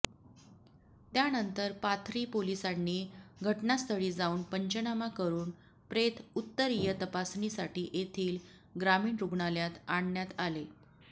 त्यानंतर पाथरी पोलीसांनी घटनास्थळी जाऊन पंचनामा करुन प्रेत उत्तरीय तपासणीसाठी येथील ग्रामीण रुग्णालात आणण्यात आले